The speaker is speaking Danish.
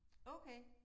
Okay